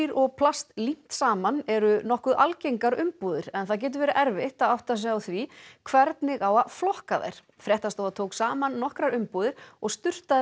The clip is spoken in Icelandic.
og plast límt saman eru nokkuð algengar umbúðir en það getur verið erfitt að átta sig á því hvernig á að flokka þær fréttastofa tók saman nokkrar umbúðir og sturtaði